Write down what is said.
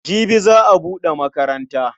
Jibi za a buɗe makaranta.